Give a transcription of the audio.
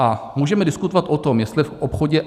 A můžeme diskutovat o tom, jestli v obchodě